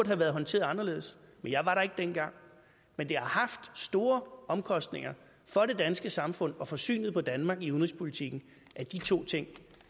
have været håndteret anderledes men jeg var der ikke dengang men det har haft store omkostninger for det danske samfund og for synet på danmark i udenrigspolitikken at de to ting